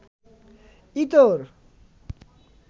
ইতর